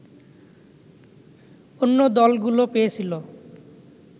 অন্য দলগুলো পেয়েছিল